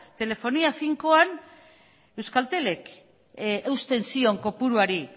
telefonia finkoan euskaltelek eusten zion kopuruari